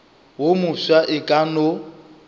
wo mofsa e ka no